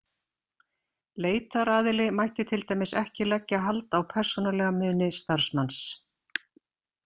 Leitaraðili mætti t.d ekki leggja hald á persónulega muni starfsmanns.